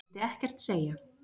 Vildi ekkert segja.